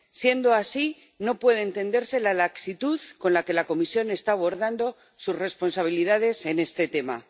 Siendo así, no puede entenderse la laxitud con la que la Comisión está abordando sus responsabilidades en este tema.